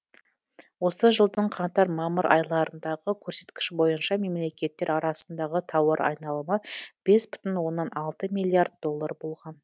осы жылдың қаңтар мамыр айларындағы көрсеткіш бойынша мемлекеттер арасындағы тауар айналымы бес бүтін оннан алты миллиард доллар болған